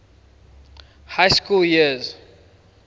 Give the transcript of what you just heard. high school years